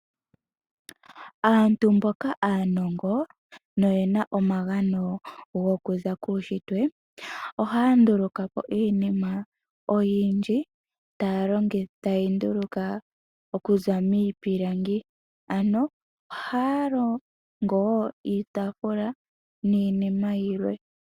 Aantu mboka aanongo noyena omagano gokuza guunshitwe ohaya nduluka iinima oyindji ta yeyi nduluka okuza miipilangi , ano ohaya longo wo iitafula niinima yilwe.